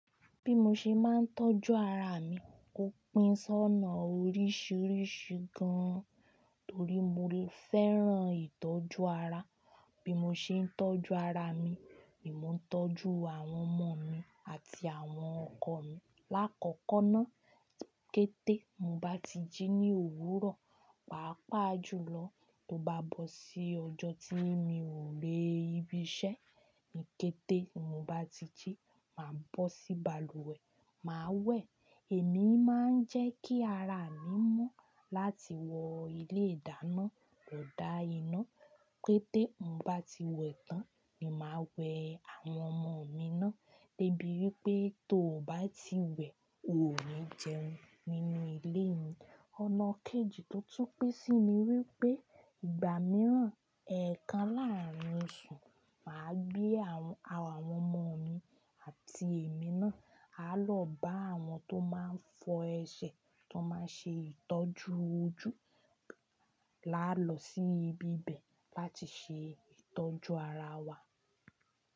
Bí mo ṣe máa ń tọ́jú ara mi, ó pín sọ́nà oríṣiríṣi gan-an torí mo fẹ́ràn ìtọ́jú ara. Bí mo ṣe ń tọ́jú ara mi ni mò ń tọ́jú àwọn ọmọ mi àti àwọn ọkọ mi. Láàkọ́kọ́ ná, kété mo bá ti jí ní òwúrọ̀, pàápàá jùlọ tó bá bọ́ sí ọjọ́ tí mi ò ré ibi iṣẹ́ mi, kété mo bá ti jí, màá bọ́ sí balùwẹ̀, màá wẹ̀. Èmi máa ń jẹ́ kí ara mi mọ́ láti wọ ilé ìdáná lò dá iná. Kété mo bá ti wè ẹtán, mi máa wẹ àwọn ọmọ mi ná. Débi wípé tó ò bá ti wẹ̀, ò ní jẹun nínú ilé mi. Ọ̀nà kejì tó tún pẹ́ sì ni wípé ìgbà mìíràn, ẹ̀ẹ̀kan láàrín oṣù, màá gbé àwọn ọmọ mi àti èmi ná, á lọ bá àwọn tó máa ń fọ ẹsẹ̀, tó máa ń ṣe ìtọ́jú ojú. La lọ sí ibi ibẹ̀ láti ṣe ìtọ́jú ara wa.